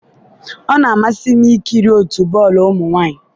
ọ na-amasị m ikiri otu bọọlụ ụmụ nwanyị.